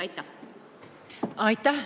Aitäh!